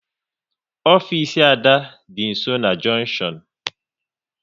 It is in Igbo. Ofisi Ada dị nsọ na junktion